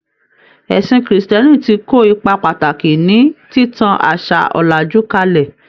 Ẹ̀sìn krìstìẹ́nì ti kó ipa pàtàkì ní títan àṣà òlàjú kálẹ̀.